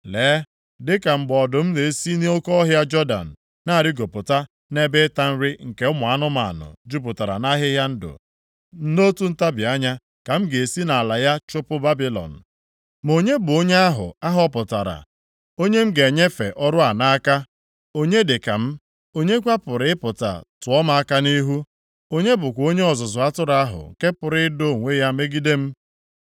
Lee, dịka mgbe ọdụm na-esi nʼoke ọhịa Jọdan na-arịgopụta nʼebe ịta nri nke ụmụ anụmanụ jupụtara nʼahịhịa ndụ, nʼotu ntabi anya ka m ga-esi nʼala ya chụpụ Babilọn. Ma onye bụ onye ahụ a họpụtara, onye m ga-enyefe ọrụ a nʼaka? Onye dịka m? Onye kwa pụrụ ịpụta tụọ m aka nʼihu? Onye bụkwa onye ọzụzụ atụrụ ahụ nke pụrụ ido onwe ya megide m?”